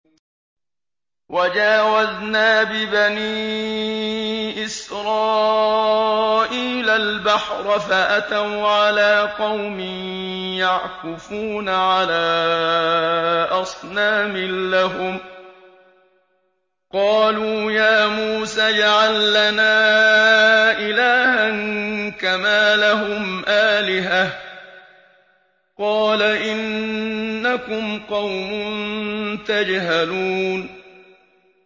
وَجَاوَزْنَا بِبَنِي إِسْرَائِيلَ الْبَحْرَ فَأَتَوْا عَلَىٰ قَوْمٍ يَعْكُفُونَ عَلَىٰ أَصْنَامٍ لَّهُمْ ۚ قَالُوا يَا مُوسَى اجْعَل لَّنَا إِلَٰهًا كَمَا لَهُمْ آلِهَةٌ ۚ قَالَ إِنَّكُمْ قَوْمٌ تَجْهَلُونَ